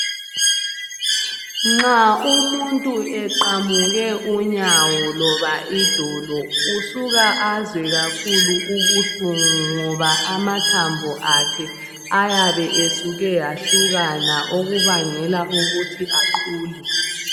Nxa umuntu eqamuke unyawo loba idolo usuka azwe kakhulu ubuhlungu ngoba amathambo akhe ayabe esuke ahlukana okubangela ukuthi aqhule.